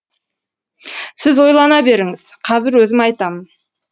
сіз ойлана беріңіз қазір өзім айтамын